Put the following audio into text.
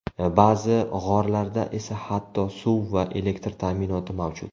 Ba’zi g‘orlarda esa hatto suv va elektr ta’minoti mavjud.